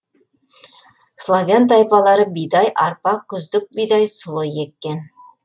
славян тайпалары бидай арпа күздік бидай сұлы еккен